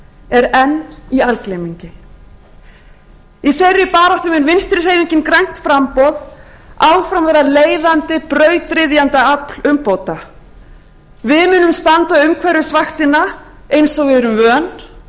er enn í algleymingi í þeirri baráttu mun vinstri hreyfingin grænt framboð áfram verða leiðandi brautryðjendaafl umbóta við munum standa umhverfisvaktina eins og við erum vön